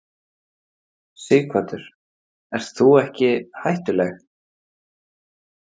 Sighvatur: Ert þú ekki hættuleg?